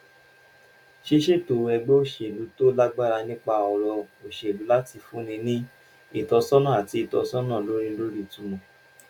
ṣíṣètò ẹgbẹ́ òṣèlú tó lágbára nípa ọ̀rọ̀ òṣèlú láti fúnni ní ìtọ́sọ́nà àti ìtọ́sọ́nà lórí lórí ìtumọ̀